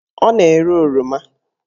Ọ na-ere oroma